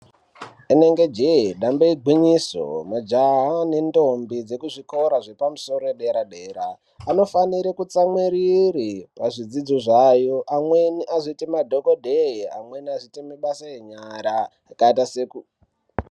Rinenge jee damba igwinyiso majaha nendombi dzekuzvikora yepamusoro zvepadera dera vanofanira kutsamwirira pazvidzidzo zvavo amweni azoita madhokodheya amweni azoite ma....